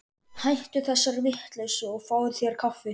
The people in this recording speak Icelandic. Hættu þessari vitleysu og fáðu þér kaffi.